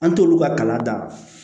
An t'olu ka kala dan